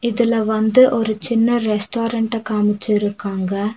இதுல வந்து ஒரு சின்ன ரெஸ்டாரண்ட்ட காமிச்சிருக்காங்க.